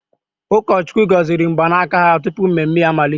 Ụkọchukwu gọziri mgbanaka ha tupu mmemme amalite.